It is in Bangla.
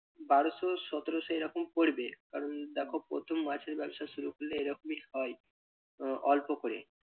বারোশো সতেরোশো এরকম পরবে কারণ দেখো প্রথম মাছের ব্যবসা শুরু করলে এরকমই হয় আহ অল্প করে।